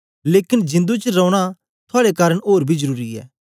लेकन जिंदु च रौना थुआड़े कारन ओर बी जरुरी ऐ